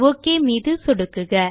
okay மீது சொடுக்குக